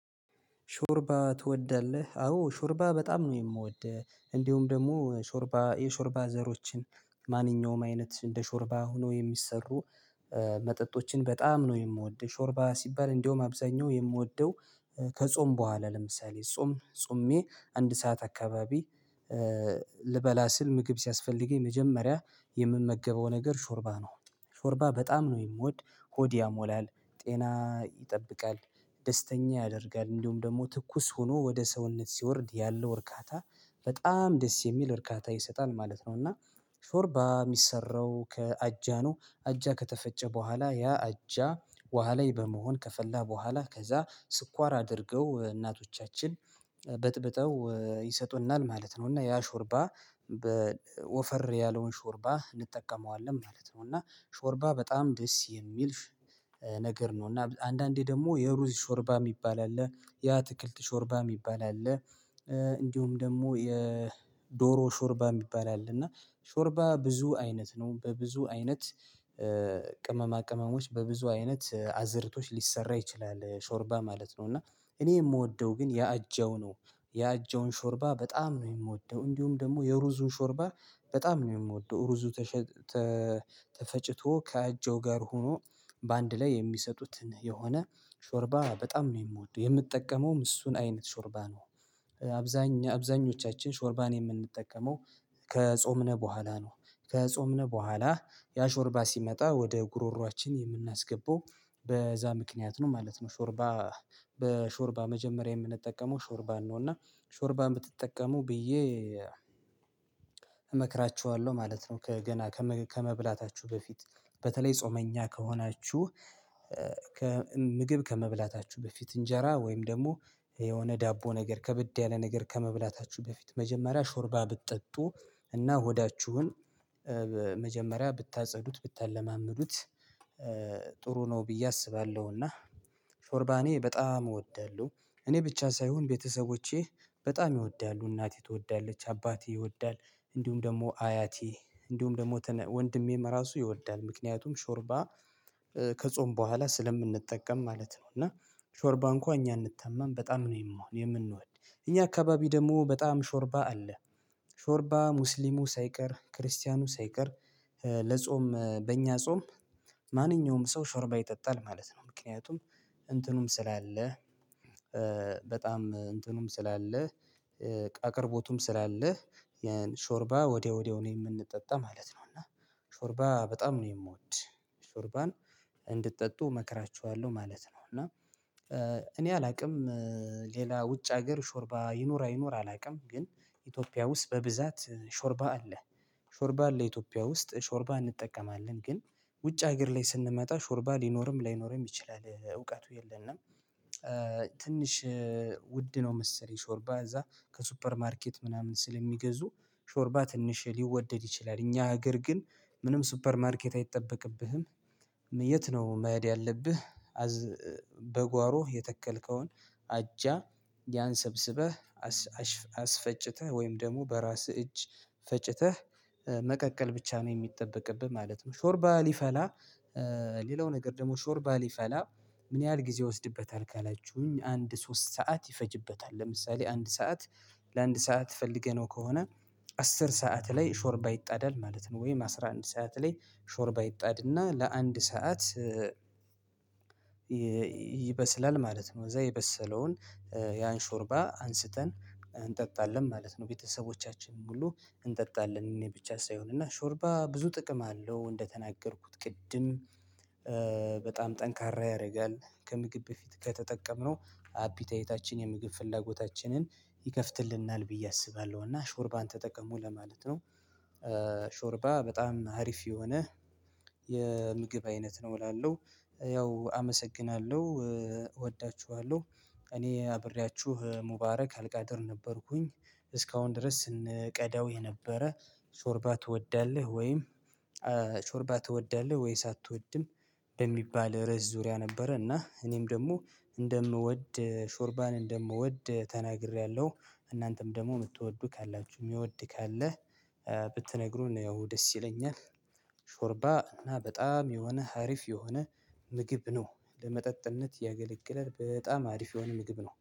ሾርባ ትወዳለህ አዎ ሾርባ በጣም ነው የምወድ እንዲሁም ደግሞ ሾርባ የሾርባ ዘሮችን ማንኛውም አይነት እንደ ሾርባ ሆኖ የሚሰሩ መጠጦችን በጣም ነው የምወደው። ሾርባ ሲባል እንደውም አብዛኛው የምወደው ከጾም በኋላ ለምሳሌ ጾም ጾሜ አንድ ሰዓት አካባቢ ልበላ ስል ምግብ ሲያስፈልገኝ መጀመሪያ የምመገበው ነገር ሾርባ ነው። ሾርባ በጣም ነው የምወድ ሆድ ያሞላል ጤና ይጠብቃል ደስተኛ ያደርጋል እንዲሁም ደግሞ ትኩስ ሆኖ ወደ ሰውነት ሲወርድ ያለው እርካታ በጣም ደስ የሚል እርካታ ይሰጣል ማለት ነው። እና ሾርባ የሚሰራው ከአጃ ነው አጃ ከተፈጨ በኋላ ያ አጃ ወሃ ላይ በመሆን ከፈላ በኋላ ከዛ ስኳር አድርገው እናቶቻችን በጥብጠው ይሰጡናል ማለት ነው። እና ያ ሾርባ በወፈር ያለውን ሾርባ እንጠቀመዋለን ማለት ነው። እና ሾርባ በጣም ደስ የሚል ነገር ነው። እና አንዳንዴ ደግሞ የሩዝ ሾርባ የሚባል አለ የአትክልት ሾርባ የሚባል አለ። እንዲሁም ደግሞ የዶሮ ሾርባ የሚባል አለ እና ሾርባ ብዙ አይነት ነው በብዙ አይነት ቅመማ ቅመሞች በብዙ አይነት አዝእርቶች ሊሰራ ይችላል ሾርባ ማለት ነው። እና እኔ የምወደው ግን የአጃው ነው። የአጃውን ሾርባ በጣም ነው የምወደው እንዲሁም ደግሞ የሩዙን ሾርባ በጣም ነው የምወደው። ሩዙ ተፈጭቶ ከአጀው ጋር ሆኖ በአንድ ላይ የሚሰጡትን የሆነ ሾርባ በጣም ነው የምወደው የምጠቀመውም እሱን አይነት ሾርባ ነው። አብዛኞቻችን ሾርባን የምንጠቀመው ከጾምነ በኋላ ነው ከጾምነ በኋላ ያ ሾርባ ሲመጣ ወደ ጉሮሮአችን የምናስገባው በዛ ምክንያት ነው ማለት ነው። ሾርባ በሾርባ መጀመሪያ የምንጠቀመው ሾርባ ነው። እና ሾርባ የምትጠቀመው ብዬ እመክራቸዋለሁ ማለት ነው። ከገና ከመብላታችሁ በፊት በተለይ ጾመኛ ከሆናችሁ ምግብ ከመብላታችሁ በፊት እንጀራ ወይም ደግሞ የሆነ ዳቦ ነገር ከብድ ያለ ነገር ከመብላታችሁ በፊት መጀመሪያ ሾርባ ብትጠጡ እና ሆዳችሁን መጀመሪያ ብታጸዱት ብታለማምዱት ጥሩ ነው። ብዬ አስባለሁና ሾርባኔ በጣም እወዳለሁ። እኔ ብቻ ሳይሆን ቤተሰቦቼ በጣም ይወዳሉ እናቴ ትወዳለች አባቴ ይወዳል። እንዲሁም ደግሞ አያቴ እንዲሁም ደግሞ ወንድሜም ራሱ ይወዳል ምክንያቱም ሾርባ ከጾምን በኋላ ስለምንጠቀም ማለት ነው። እና ሾርባ እንኳን እኛ አንታመም በጣም ነው የምንሆን የምንወድ እኛ አካባቢ ደግሞ በጣም ሾርባ አለ። ሾርባ ሙስሊሙ ሳይቀር ክርስቲያኑ ሳይቀር ለጾም በእኛ ጾም ማንኛውም ሰው ሾርባ ይጠጣል ማለት ነው። ምክንያቱም እንትኑም ስላለ በጣም እንትኑም ስላለ አቅርቦቱም ስላለ ስላለህ የሾርባ ወዲያ ወዲያው ነው የምንጠጣ ማለት ነው። እና ሾርባ በጣም ነው የምወድ ሾርባን እንድትጠጡ እመክራችኋለሁ ማለት ነው። እና እኔ አላውቅም። ሌላ ውጭ ሀገር ሾርባ ይኖራል አይኖርም ግን ኢትዮጵያ ውስጥ በብዛት ሾርባ አለ። ሾርባ አለ ኢትዮጵያ ውስጥ ውስጥ ሾርባ እንጠቀማለን ግን ውጭ ሀገር ላይ ስንመጣ ሾርባ ሊኖርም ላይኖርም ይችላል እውቀቱ የለንም። ትንሽ ውድ ነው መሰለኝ ሾርባ እዛ ከሱፐር ማርኬት ምናምን ስለሚገዙ ሾርባ ትንሽ ሊወደድ ይችላል እኛ ሀገር ግን ምንም ሱፐር ማርኬት አይጠበቅብህም የት ነው መሄድ ያለብህ? በጓሮ የተከልከውን አጃ ያንሰብስበህ አስፈጭተህ ወይም ደግሞ በራስህ እጅ ፈጭተህ መቀቀል ብቻ ነው የሚጠበቅብህ ማለት ነው። ሾርባ ሊፈላ ሌላው ነገር ደግሞ ሾርባ ሊፈላ ምን ያህል ጊዜ ይወስድበታል ካላችሁኝ አንድ ሶስት ሰዓት ይፈጅበታል። ለምሳሌ አንድ ሰዓት ለአንድ ሰዓት ፈልገነው ከሆነ አስር ሰዓት ላይ ሾርባ ይጣዳል ማለት ነው። ወይም አስራ አንድ ሰዓት ላይ ሾርባ ይጣድና ለአንድ ሰዓት ይበስላል ማለት ነው። እዛ የበሰለውን ያን ሾርባ አንስተን እንጠጣለን ማለት ነው። ቤተሰቦቻችን ሁሉ እንጠጣለን እኔ ብቻ ሳይሆን እና ሾርባ ብዙ ጥቅም አለው። እንደተናገርኩት ቅድም በጣም ጠንካራ ያደርጋል ከምግብ በፊት ከተጠቀምነው አፒታይታችን የምግብ ፍላጎታችንን ይከፍትልናል ብዬ አስባለሁ እና ሾርባን ተጠቀሙ ለማለት ነው። ሾርባ በጣም አሪፍ የሆነ የምግብ አይነት ነው እላለሁ። ያው አመሰግናለሁ እወዳችኋለሁ እኔ አብሬያችሁ ሙባረክ አልቃደር ነበርኩኝ። እስካሁን ድረስ ስንቀዳው የነበረ ሾርባ ትወዳለህ ወይም ሾርባ ትወዳለህ ወይስ አትወድም? በሚባል ርዕስ ዙሪያ ነበረ እና እኔም ደግሞ እንደምወድ ሾርባን እንደምወድ ተናግሬያለሁ። እናንተም ደግሞ የምትወዱ ካላችሁ የሚወድ ካለ ብትነግሩን ያው ደስ ይለኛል። ሾርባ እና በጣም የሆነ አሪፍ የሆነ ምግብ ነው። ለመጠጥነት ያገለግላል በጣም አሪፍ የሆነ ምግብ ነው